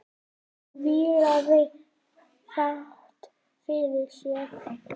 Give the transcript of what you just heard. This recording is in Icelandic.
Hún vílaði fátt fyrir sér.